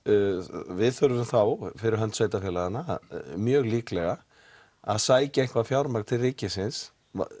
við þurfum þá fyrir hönd sveitafélaganna mjög líklega að sækja eitthvað fjármagn til ríkisins